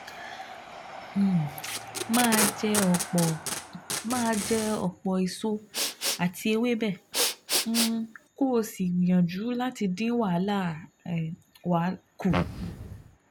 um Máa jẹ ọ̀pọ̀ Máa jẹ ọ̀pọ̀ èso àti ewébẹ̀, um kó o sì gbìyànjú láti dín wàhálà um kù